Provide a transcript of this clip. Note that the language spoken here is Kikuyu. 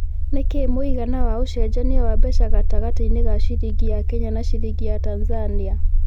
nĩ kĩĩ mũigana wa ũcenjanĩa mbeca gatagati-inĩ ka ciringi ya Kenya na ciringi ya Tanzania